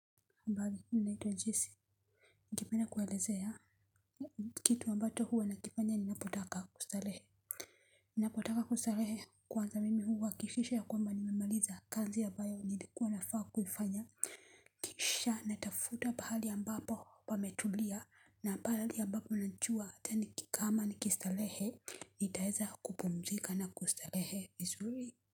Mbali minaitwa jesi. Ningependa kuelezea kitu mbato huwa na kifanya ninapotaka kustarehe. Ninapotaka kustarehe kwanza mimi huhakishisha ya kwamba nimemaliza kazi ya abayo nilikuwa na faa kufanya. Kisha natafuta pahali ya mbapo pametulia na pahali ambapo nanchua tani kikaa ama nikistarehe. Nitaeza kupumzika na kustarehe it's really.